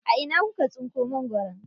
A ina kuka tsinko mangwaro?